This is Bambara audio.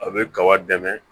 A bɛ kaba dɛmɛ